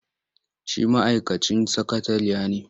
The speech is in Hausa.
Shi ma'aikacin sakatariya ne.